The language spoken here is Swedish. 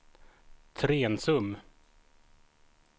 Trensum